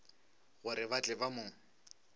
gore ba tle ba mo